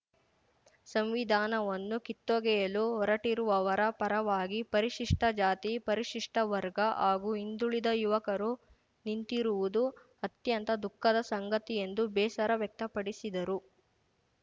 ಸಂವಿಧಾನವನ್ನು ಕಿತ್ತೊಗೆಯಲು ಹೊರಟಿರುವವರ ಪರವಾಗಿ ಪರಿಶಿಷ್ಟಜಾತಿ ಪರಿಶಿಷ್ಟವರ್ಗ ಹಾಗೂ ಹಿಂದುಳಿದ ಯುವಕರು ನಿಂತಿರುವುದು ಅತ್ಯಂತ ದುಃಖದ ಸಂಗತಿ ಎಂದು ಬೇಸರ ವ್ಯಕ್ತಪಡಿಸಿದರು